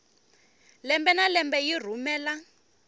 lembe na lembe yi rhumela